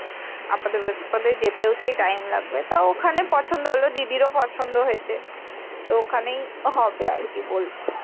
আপদে বিপদে যেতে ও একটু time লাগবে তো ওখানে পছন্দ হল দিদির ও পছন্দ হয়েছে তো ওখানেই হবে আরকি বলছে।